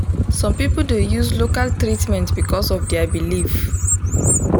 some people dey use local treatment because of their belief. um